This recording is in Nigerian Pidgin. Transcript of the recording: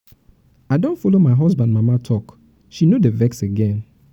i don follow my husband mama talk she no dey vex again.